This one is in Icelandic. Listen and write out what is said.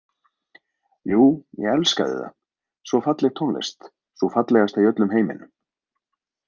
Jú, ég elskaði það, svo falleg tónlist, sú fallegasta í öllum heiminum